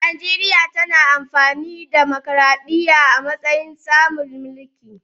Najeriya na amfani da tsarin dimokuradiyya a matsayin tsarin mulki.